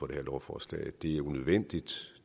det her lovforslag det er unødvendigt